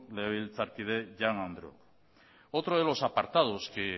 biltzarkide jaun andreok otros de los apartados que